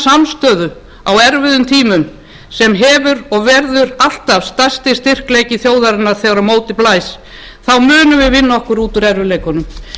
samstöðu á erfiðum tímum sem hefur verið og verður alltaf stærsti styrkleiki þjóðarinnar þegar á móti blæs munum við vinna okkur út úr erfiðleikunum